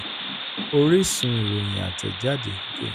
oríṣun: ìròyìn atejade ge.